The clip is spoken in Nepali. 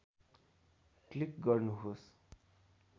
क्लिक गर्नुहोस्